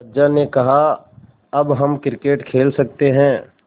अज्जा ने कहा अब हम क्रिकेट खेल सकते हैं